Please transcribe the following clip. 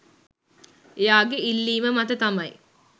එයාගේ ඉල්ලීම මත තමයි